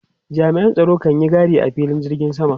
Jami'an tsaro kan yi gadi a filin jirgin sama.